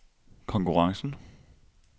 konkurrencen